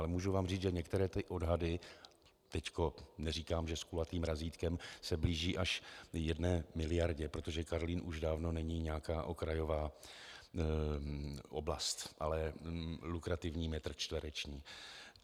Ale můžu vám říct, že některé odhady, teď neříkám, že s kulatým razítkem, se blíží až jedné miliardě, protože Karlín už dávno není nějaká okrajová oblast, ale lukrativní metr čtvereční.